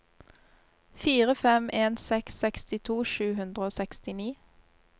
fire fem en seks sekstito sju hundre og sekstini